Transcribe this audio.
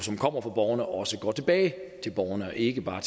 kommer fra borgerne også går tilbage til borgerne og ikke bare